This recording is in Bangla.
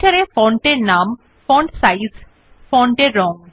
Writer এ ফন্ট এর নাম ফন্ট সাইজ ফন্ট এর রং